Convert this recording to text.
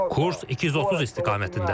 Kurs 230 istiqamətindədir.